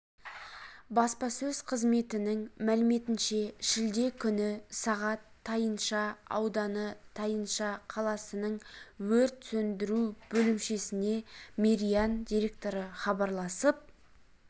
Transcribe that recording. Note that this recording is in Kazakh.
баспасөз қызметінің мәліметінше шілде күні сағат тайынша ауданы тайынша қаласының өрт сөндіру бөлімшесіне мериан директоры хабарласып